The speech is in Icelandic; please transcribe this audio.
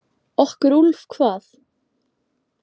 Okkur Úlf hvað?